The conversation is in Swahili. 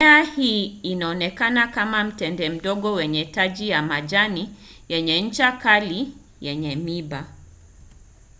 mimea hii inaonekana kama mtende mdogo wenye taji ya majani yenye ncha kali yenye miiba